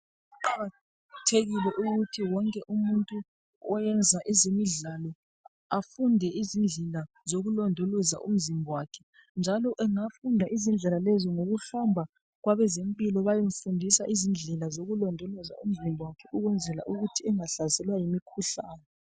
Kuqakathekile wonke umuntu oyenza ezemidlalo afunde izindlela zokulondoloza umzimba wakhe. Njalo engafunda izindlela lezo ngokuhamba kwabezempilo bayemfundisa izindlela zokulondoloza umzimba wakhe ukwenzela ukuthi engahlaselwa yimikhuhlane.